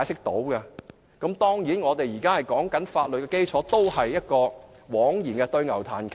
當然，我們現在談法律基礎也是枉然，對牛彈琴。